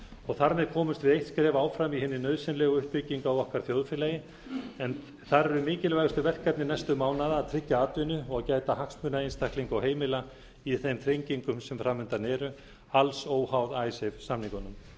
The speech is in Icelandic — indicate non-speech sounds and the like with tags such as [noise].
og þar með komumst við eitt skref áfram í hinni nauðsynlegu uppbyggingu á okkar þjóðfélagi en þar eru mikilvægustu verkefni næstu mánaða að tryggja atvinnu og gæta hagsmuna einstaklinga og heimila í þeim þrengingum sem framundan eru alls óháð [unintelligible] samningunum